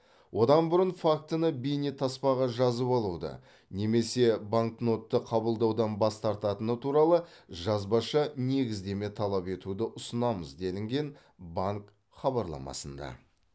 одан бұрын фактіні бейнетаспаға жазып алуды немесе банкнотты қабылдаудан бас тартатыны туралы жазбаша негіздеме талап етуді ұсынамыз делінген банк хабарламасында